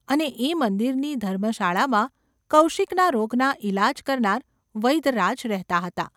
અને એ મંદિરની ધર્મશાળામાં કૌશિકના રોગના ઈલાજ કરનાર વૈદ્યરાજ રહેતા હતા.